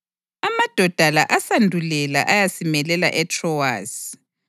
Amadoda la asandulela ayasimelela eTrowasi.